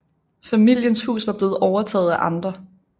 Familiens hus var blevet overtaget af andre